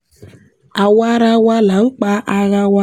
àwa ará wa là ń pa ara wa